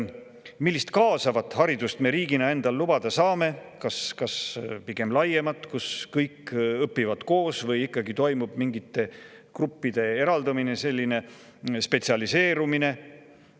Millist kaasavat haridust me riigina endale lubada saame: kas pigem laiemat, kus kõik õpivad koos, või toimub ikkagi mingite gruppide eraldumine, spetsialiseerumine?